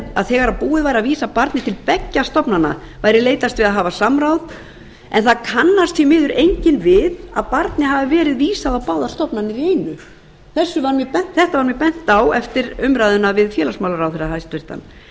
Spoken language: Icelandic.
að þegar búið væri að vísa barni til beggja stofnana væri leitast við að hafa samráð en það kannast því miður enginn við að barni hafi verið vísað á báðar stofnanir í einu þetta var mér bent á eftir umræðuna við félagsmálaráðherra